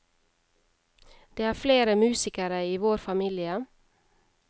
Det er flere musikere i vår familie.